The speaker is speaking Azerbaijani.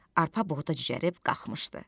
Arpa buğda cücərib qalxmışdı.